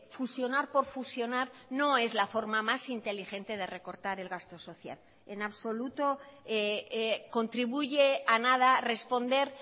fusionar por fusionar no es la forma más inteligente de recortar el gasto social en absoluto contribuye a nada responder